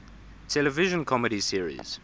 television comedy series